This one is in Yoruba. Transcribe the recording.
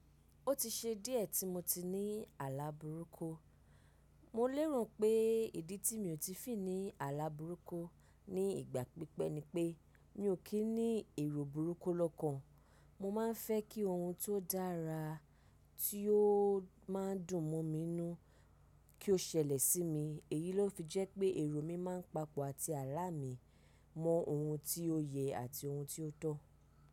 Ó ti ṣe díẹ̀ tí mo ti ní àlá burúkú. Mò lérò pé ìdí tí mi ò tí fì ní àlá burúkú ní ìgbà pípẹ́ ni pé mi ò kí ní èrò burúkú lọ́kàn. Mo má ń fẹ́ kí ohun tó dára tí ó má ń dùn mọ́ mi nù kí ó ṣẹlẹ̀ sí mi. Èyí ló fi jẹ́ pé èrò mi má ń papọ̀ àti àlá mi mọ ohun tí ó yẹ àti ohun tí ó tọ́.